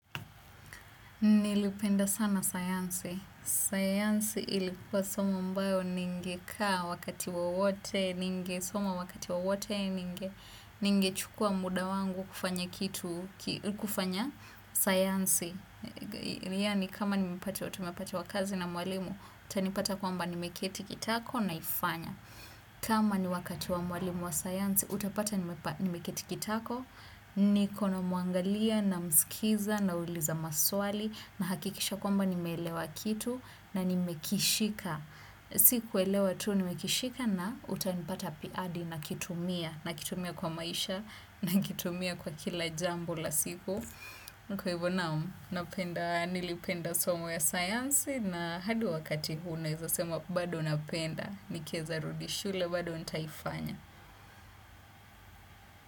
Nilipenda sana sayansi. Sayansi ilikuwa somo ambayo ningekaa wakati wowote, ningesoma wakati wowote, ningechukua muda wangu kufanya kitu, kufanya sayansi. Yani kama tumepatiwa kazi na mwalimu, utanipata kwamba nimeketi kitako naifanya. Kama ni wakati wa mwalimu wa sayansi, utapata nimeketi kitako. Niko na mwangalia namskiza nauliza maswali. Nahakikisha kwamba nimeelewa kitu na nimekishika sikuelewa tu nimekishika na utanipata hadi nakitumia nakitumia kwa maisha nakitumia kwa kila jambo la siku. Niko hivo naam, nilipenda somo ya sayansi na hadi wakati huu naeza sema bado napenda nikieza rudi shule bado nitaifanya.